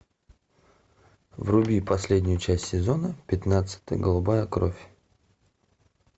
вруби последнюю часть сезона пятнадцать голубая кровь